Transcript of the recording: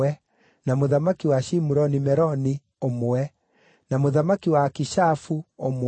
na mũthamaki wa Shimuroni Meroni, ũmwe, na mũthamaki wa Akishafu, ũmwe,